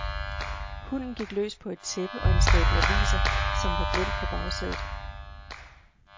Hunden gik løs på et tæppe og en stabel aviser, som var glemt på bagsædet.